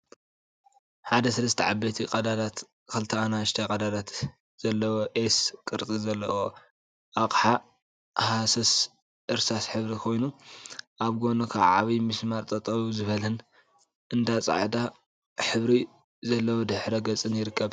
ሓደ ሰለስተ ዓበይቲ ቀዳዳትን ክልተ አናእሽተይ ቀዳዳትን ዘለዎ ኤስ ቅርፂ ዘለዎ አቅሓ ሃሳስ እርሳስ ሕብሪ ኮይኑ፤ አብ ጎኑ ከዓ ዓብይ ሚስማር ጠጠው ዝበለን አብ ፃዕዳ ሕብሪ ዘለዎ ድሕረ ገፅን ይርከብ፡፡